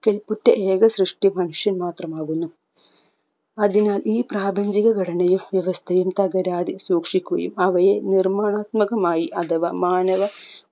കെൽപ്പുറ്റ ഏക സൃഷ്ടി മനുഷ്യൻ മാത്രമാകുന്നു അതിനാൽ ഈ പ്രാപഞ്ചിക ഘടനയും വ്യവസ്ഥയും തകരാതെ സൂക്ഷിക്കുകയും അവയെ നിർമ്മാണാത്മകമായി അഥവ മാനവ